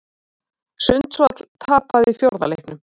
Sundsvall tapaði fjórða leiknum